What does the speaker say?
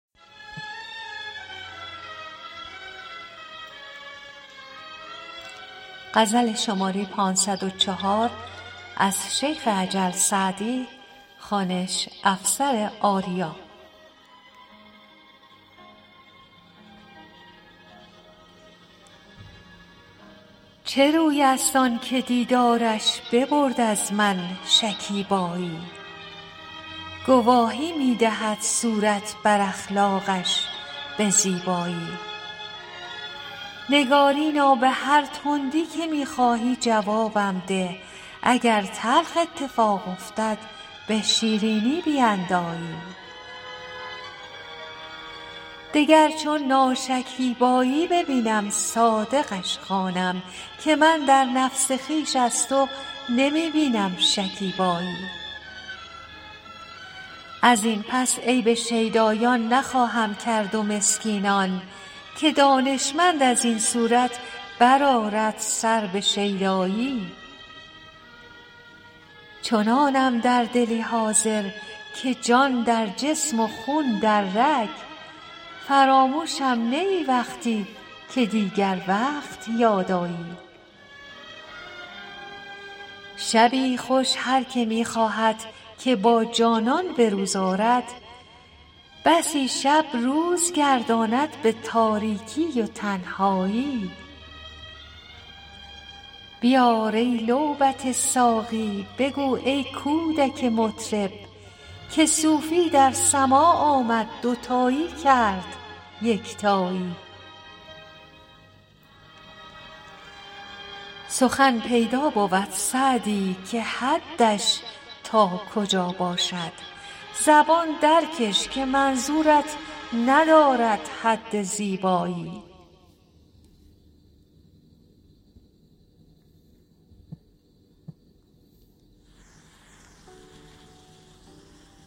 چه روی است آن که دیدارش ببرد از من شکیبایی گواهی می دهد صورت بر اخلاقش به زیبایی نگارینا به هر تندی که می خواهی جوابم ده اگر تلخ اتفاق افتد به شیرینی بیندایی دگر چون ناشکیبایی ببینم صادقش خوانم که من در نفس خویش از تو نمی بینم شکیبایی از این پس عیب شیدایان نخواهم کرد و مسکینان که دانشمند از این صورت بر آرد سر به شیدایی چنانم در دلی حاضر که جان در جسم و خون در رگ فراموشم نه ای وقتی که دیگر وقت یاد آیی شبی خوش هر که می خواهد که با جانان به روز آرد بسی شب روز گرداند به تاریکی و تنهایی بیار ای لعبت ساقی بگو ای کودک مطرب که صوفی در سماع آمد دوتایی کرد یکتایی سخن پیدا بود سعدی که حدش تا کجا باشد زبان درکش که منظورت ندارد حد زیبایی